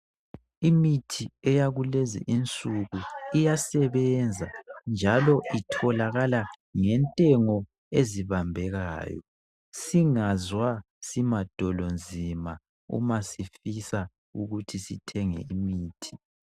imithi eyakulezi insuku iyasebenza njalo itholakala ngentengo ezibambekayo singazwa simadolonzima umasifisa ukuthi sithenge imithi